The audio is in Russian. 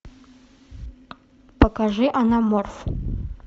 покажи анаморф